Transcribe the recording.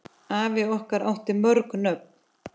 Afi okkar átti mörg nöfn.